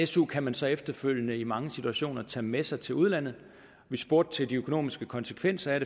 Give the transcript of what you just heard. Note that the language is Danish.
su kan man så efterfølgende i mange situationer tage med sig til udlandet vi spurgte til de økonomiske konsekvenser af